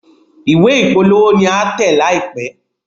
Ìwé ìpolówó ní a tẹ̀ láìpé.